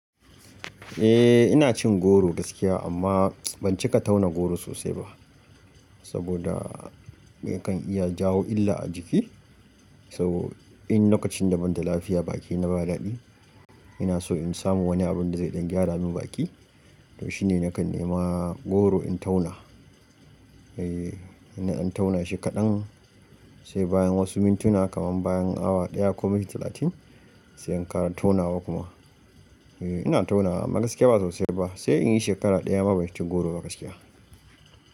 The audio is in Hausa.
Eh ina cin goro gaskiya amma ban cika tauna goro sosai ba saboda yakan iya jawo illa a jiki. Saboda in lokacin da ban da lafiya bakina ba daɗi ina so in samu wani abun da zai gyara min baki. To shine nakan nema goro in tauna. Eh ina tauna shi kaɗan sai bayan wasu mintuna kaman bayan awa ɗaya ko minti talatin sai in kara tonawa kuma. Eh ina taunawa amma gaskiya ba sosai ba sai in yi shekara ɗaya ba ci goro ba gaskiya.